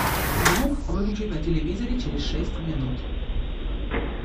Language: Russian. звук выключить на телевизоре через шесть минут